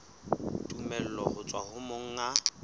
tumello ho tswa ho monga